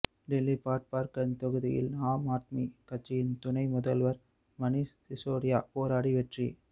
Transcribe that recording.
டெல்லி பட்பார்கஞ்ச் தொகுதியில் ஆம் ஆத்மி கட்சியின் துணை முதல்வர் மணீஷ் சிசோடியா போராடி வெற்றி